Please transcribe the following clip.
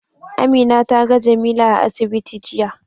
Amina ta ga Jamila a asibiti jiya.